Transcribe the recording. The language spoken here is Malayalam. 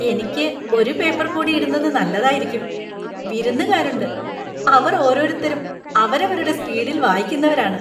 എനിക്ക് ഒരു പേപ്പര്‍ കൂടി ഇടുന്നത് നല്ലതായിരിക്കും! വിരുന്നുകാരുണ്ട്. അവര്‍ ഓരോരുത്തരും അവരവരുടെ സ്പീഡില്‍ വായിക്കുന്നവരാണ്.